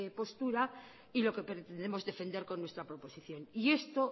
postura y lo que pretendemos defender con nuestra proposición y esto